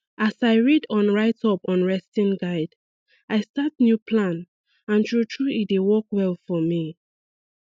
as i read on write up on resting guide i start new plan and true true e dey work well for me